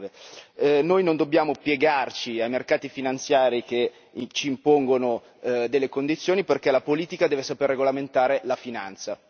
2009. Noi non dobbiamo piegarci ai mercati finanziari che ci impongono delle condizioni, perché la politica deve saper regolamentare la finanza.